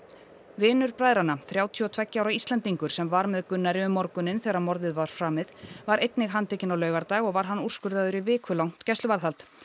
vinur bræðranna þrjátíu og tveggja ára Íslendingur sem var með Gunnari um morguninn þegar morðið var framið var einnig handtekinn á laugardag og var hann úrskurðaður í vikulangt gæsluvarðhald